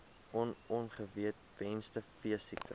on ongewenste veesiektes